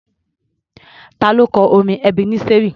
Ta ló kọ orin Ebeneseri?